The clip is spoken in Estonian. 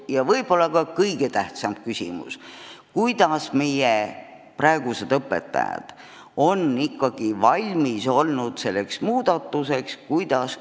Ja võib-olla kõige tähtsam küsimus: kuidas meie õpetajad on ikkagi valmis olnud selleks muudatuseks?